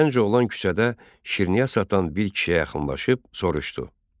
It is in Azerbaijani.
Gənc oğlan küçədə şirniyyat satan bir kişiyə yaxınlaşıb soruşdu: